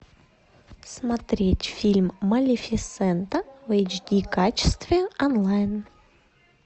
смотреть фильм малефисента в эйч ди качестве онлайн